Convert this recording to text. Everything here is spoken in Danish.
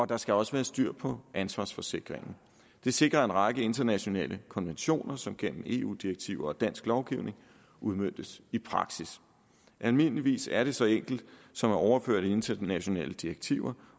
der skal også være styr på ansvarsforsikringen det sikrer en række internationale konventioner som gennem eu direktiver og dansk lovgivning udmøntes i praksis almindeligvis er det så enkelt som at overføre internationale direktiver